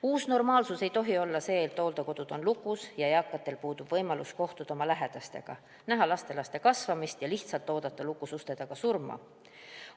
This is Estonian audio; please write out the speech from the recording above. Uus normaalsus ei tohi olla see, et hooldekodud on lukus, eakatel puudub võimalus kohtuda lähedastega ja näha lastelaste kasvamist ning neil tuleb lihtsalt lukus uste taga surma oodata.